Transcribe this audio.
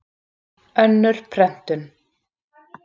Önnur prentun.